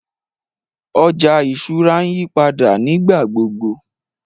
Ọjà ìṣúra ǹ yìpàdà nígbàgbogbo.